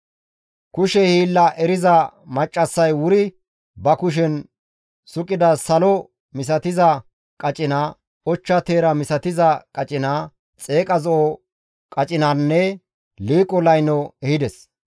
Kushe hiilla eriza maccassay wuri ba kushen suqida salo misatiza qacina, ochcha teera misatiza qacina, xeeqa zo7o qacinanne liiqo layno ehides.